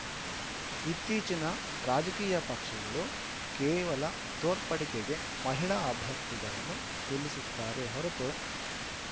ಇತ್ತೀಚಿನ ರಾಜಕೀಯ ಪಕ್ಷಗಳು ಕೇವಲ ತೋರ್ಪಡಿಕೆಗೆ ಮಹಿಳಾ ಅಭ್ಯರ್ಥಿಗಳನ್ನು ನಿಲ್ಲಿಸುತ್ತಾರೆ ಹೊರತು